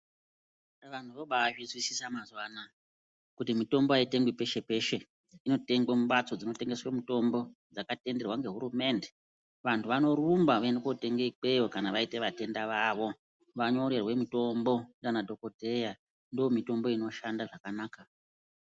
Vantu vobazvizwisisa mazuva anaya kuti mitombo aitengwi peshe peshe inotengwa mumbatso dzinotengeswe mitombo dzakatenderwa nehurumende vantu vanorumba voende kotenga ikweyo kana vaite vatenda vavo vanyorerwa ndiana dhokodheya ndiwo mitombo inoshanda zvakanaka.